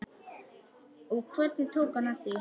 Og hvernig tók hann því?